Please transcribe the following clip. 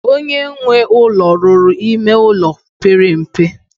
Onye nwe ụlọ ruru ime ụlọ pere mpe.